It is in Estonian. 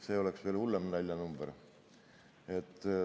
See oleks veel hullem naljanumber.